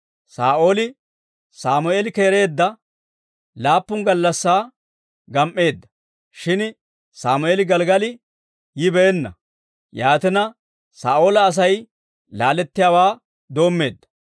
Saa'ooli Sammeeli keereedda laappun gallassaa gam"eedda; shin Sammeeli Gelggali yibeenna; yaatina, Saa'oola Asay laalettiyaawaa doommeedda.